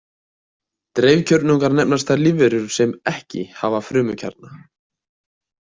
Dreifkjörnungar nefnast þær lífverur sem ekki hafa frumukjarna.